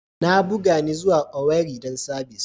Na buga ni zuwa Owerri dan sabis.